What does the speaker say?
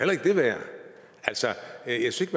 altså jeg synes